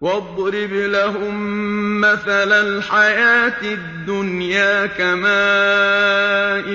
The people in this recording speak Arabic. وَاضْرِبْ لَهُم مَّثَلَ الْحَيَاةِ الدُّنْيَا كَمَاءٍ